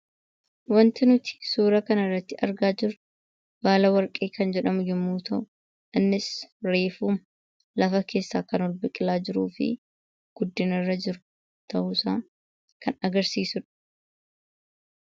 Waanti nuti suura kanarratti argaa jirru baala warqee yommuu ta'u, innis reefuu lafa keessaa kan biqilaa jiruu fi guddinarra jiru ta'uusaa kan agarsiisudha.